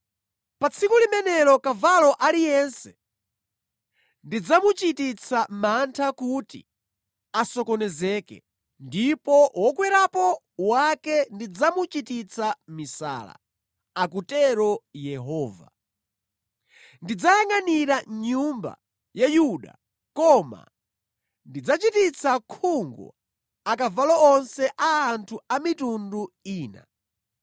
Pa tsiku limenelo kavalo aliyense ndidzamuchititsa mantha kuti asokonezeke, ndipo wokwerapo wake ndidzamuchititsa misala,” akutero Yehova. “Ndidzayangʼanira nyumba ya Yuda koma ndidzachititsa khungu akavalo onse a anthu a mitundu ina.